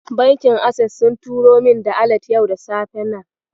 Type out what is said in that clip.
Bankin Ases sun turo min da alat yau da safe nan.